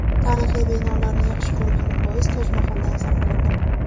Tarixiy binolarni yaxshi ko‘rganim bois Toj Mahaldan zavqlandim.